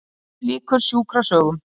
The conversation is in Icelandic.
HÉR LÝKUR SJÚKRASÖGUM